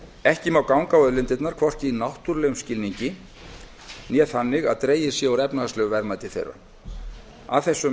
ekki má ganga á auðlindirnar hvorki í náttúrulegum skilningi né þannig að dregið sé úr efnahagslegu verðmæti þeirra að þessum